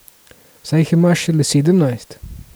Saj jih imaš šele sedemnajst.